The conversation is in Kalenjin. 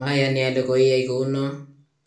mayani ale koiyai kou noe